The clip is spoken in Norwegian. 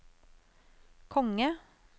konge